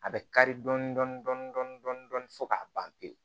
A bɛ kari dɔɔnin dɔɔnin fo k'a ban pewu